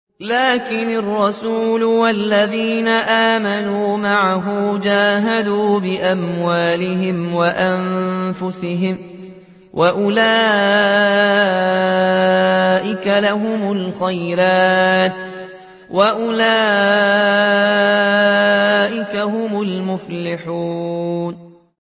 لَٰكِنِ الرَّسُولُ وَالَّذِينَ آمَنُوا مَعَهُ جَاهَدُوا بِأَمْوَالِهِمْ وَأَنفُسِهِمْ ۚ وَأُولَٰئِكَ لَهُمُ الْخَيْرَاتُ ۖ وَأُولَٰئِكَ هُمُ الْمُفْلِحُونَ